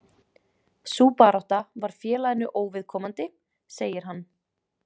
Sú barátta var félaginu óviðkomandi, segir hann.